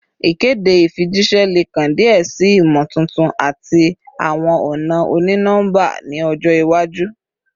Ikede ifijiṣẹ le kan diẹ sii imotuntun ati awọn ọna oni-nọmba ni ọjọ iwaju